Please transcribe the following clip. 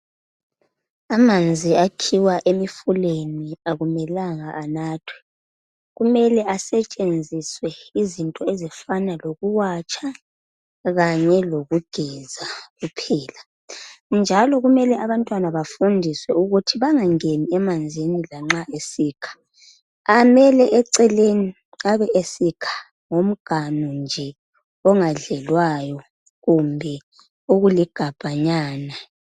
Amanzi akhiwa emifuleni akumelanga anathwe. Kumele asetshenziswe izinto ezifana lokuwatsha kanye lokugeza kuphela ,njalo kumele abantwana bafundiswe ukuthi bangangeni emanzini lanxa besikha ,amele eceleni abesikha ngomganu nje ongadlelwayo kumbe okuligabhanyana